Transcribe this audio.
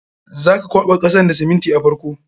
Za ka kwaɓa kasan da siminti a farko.